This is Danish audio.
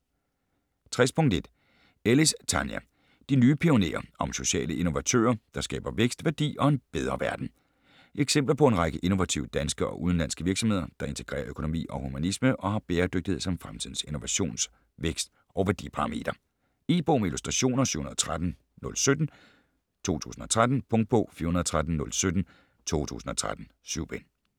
60.1 Ellis, Tania: De nye pionerer: om sociale innovatører, der skaber vækst, værdi og en bedre verden Eksempler på en række innovative danske og udenlandske virksomheder, der integrerer økonomi og humanisme og har bæredygtighed som fremtidens innovations-, vækst- og værdiparameter. E-bog med illustrationer 713017 2013. Punktbog 413017 2013. 7 bind.